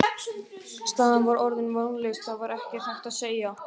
Staðan var vonlaus, það var ekkert hægt að segja.